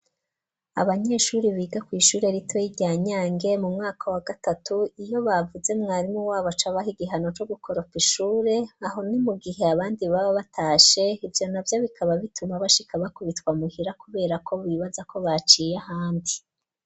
Abanyeshure biga kw'ishure ritoya rya Nyange mu mwaka wa gatatu, iyo bavuze mwarimu wabo aca abaha igihano co gukoropa ishure, aho ni mu gihe abandi baba batashe, ivyo navyo bikaba bituma bashika bakubitwa muhira kuberako bibaza ko baciye ahandi.